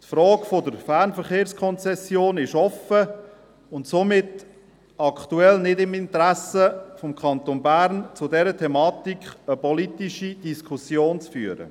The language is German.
Die Frage der Fernverkehrskonzession ist offen, und somit ist es aktuell nicht im Interesse des Kantons Bern, zu dieser Thematik eine politische Diskussion zu führen.